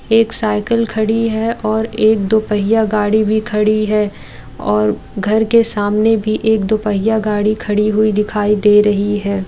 एक साइकिल खड़ी है और एक दुपहिया गाड़ी भी खड़ी है और घर के सामने भी एक दुपहिया गाड़ी खड़ी हुई दिखाई दे रही है।